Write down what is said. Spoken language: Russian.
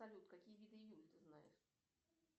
салют какие виды июль ты знаешь